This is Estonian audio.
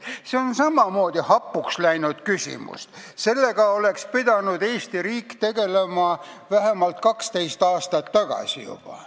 See on samamoodi hapuks läinud küsimus – sellega oleks Eesti riik pidanud juba vähemalt 12 aastat tagasi tegelema.